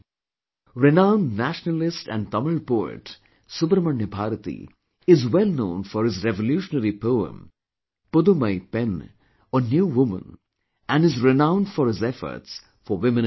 Renowned nationalist and Tamil poet Subramanya Bharati is well known for his revolutionary poem Pudhumai Penn or New woman and is renowned for his efforts for Women empowerment